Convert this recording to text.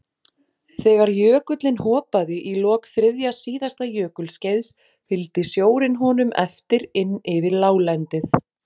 Þegar jökullinn hopaði í lok þriðja síðasta jökulskeiðs fylgdi sjórinn honum eftir inn yfir láglendið.